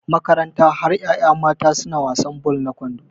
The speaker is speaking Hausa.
Makaranta har yaya mata suna wasan ball na kwando